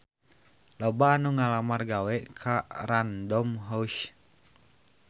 Loba anu ngalamar gawe ka Random House